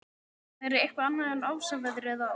Það er eitthvað annað en ofsaveðrið á